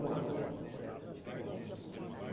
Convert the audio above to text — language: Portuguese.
Um ano, um ano.